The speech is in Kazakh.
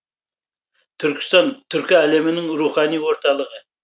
түркістан түркі әлемінің рухани орталығы